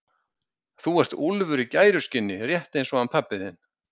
Þú ert úlfur í gæruskinni rétt eins og hann pabbi þinn.